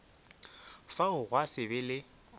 fao gwa se be le